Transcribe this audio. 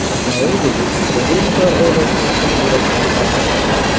Daudov Qodirovlar oilasini chin yurakdan tabrikladi.